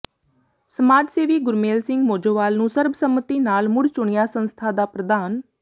ਸਮਾਜ ਸੇਵੀ ਗੁਰਮੇਲ ਸਿੰਘ ਮੋਜੋਵਾਲ ਨੂੰ ਸਰਬਸੰਮਤੀ ਨਾਲ ਮੁੜ ਚੁਣਿਆ ਸੰਸਥਾ ਦਾ ਪ੍ਰਧਾਨ